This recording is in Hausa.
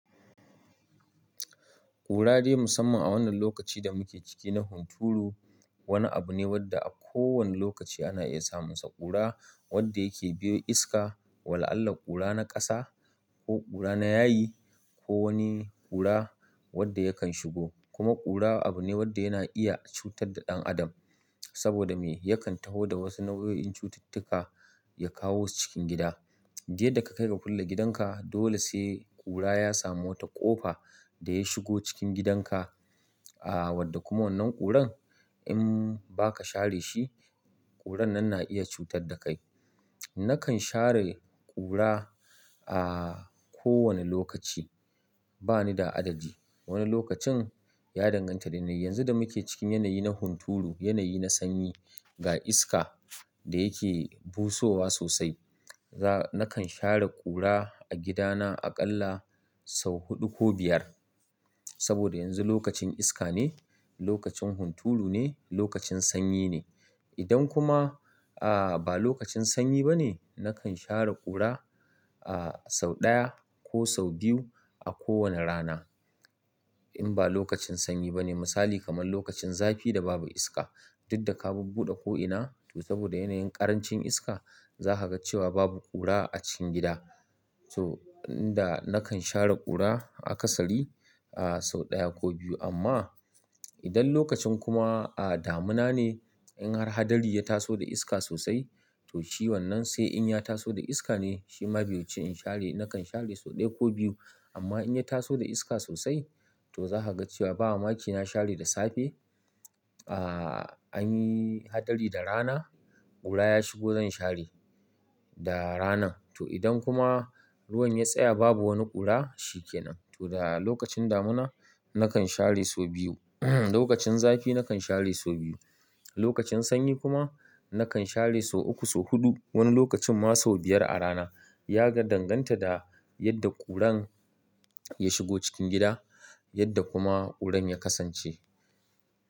Kura dai musamman a wannan lokaci da muke ciki na hunturu, wani abu ne wanda a kowane lokaci ana iya samunsa. Kura wanda yake biyo iska, wala Allah kura na ƙasa ko ƙura na yayi ko wani ƙura wanda yakan shigo. Kuma ƙura abu ne wadda yana iya cutar da ɗan adam saboda me? Yakan taho da wasu nau'o'in cututtuka ya kawosu cikin gida. Duk yadda ka kai ga kulle gidanka dole sai ƙura ya samu wata ƙofa da ya shigo cikin gidanka. A wadda kuma wannan ƙuran in ba ka share shi, ƙuran nan na iya cutar da kai. Nakan share ƙura a kowane lokaci, bani da addadi. Wani lokacin ya danganta da yanayin. Yanzu da muke cikin yanayi na hunturu, yanayi na sanyi ga iska da yake busowa sosai, za-- nakan share ƙura a gidana aƙalla sau huɗu ko biyar. Saboda yanzu lokacin iska ne, lokacin hunturu ne, lokacin sanyi ne. Idan kuma a ba lokacin sanyi ba ne, nakan share ƙura a sau ɗaya ko sau biyu a kowane rana. In ba lokacin sanyi ba ne, misali kamar lokacin zafi da babu iska, duk da ka bubbuɗe ko'ina to saboda yanayin ƙarancin iska za ka ga cewa babu ƙura a cikin gida. To, inda nakan share ƙura a kasari a sau ɗaya ko biyu. Amma idan lokacin kuma damina ne in har adari ya taso da iska sosai toh shi wannan sai in ya taso da iska ne shima bai wuci in share nakan share sau daya ko biyu amma in ya taso da iska sosai toh zaka ga cewa ba mamaki na share da safe anyi hadari da rana kura ya shigo zan share da ranan to idan kuma ruwan ya tsaya babu wani ƙura shi ke nan. To da lokacin damuna nakan share sau biyu. Lokacin zafi nakan share sau biyu. Lokacin sanyi kuma nakan share sau uku, sau huɗu. Wani lokacin ma sau biyar a rana. Ya danganta da yadda ƙuran ya shigo cikin gida, yadda kuma ƙuran ya kasance.